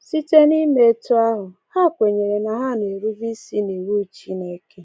Site n’ime etu ahụ, ha kwenyere na ha na-erube isi n’iwu Chineke.